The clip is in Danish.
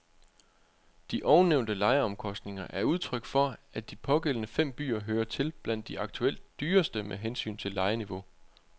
De ovennævnte lejeomkostninger er udtryk for, at de pågældende fem byer hører til blandt de aktuelt dyreste med hensyn til lejeniveau.